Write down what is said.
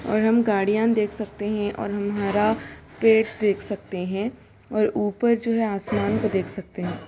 और हम गाड़ियां देख सकते हैं और हमारा पेट देख सकते हैं और ऊपर जो है आसमान को देख सकते हैं।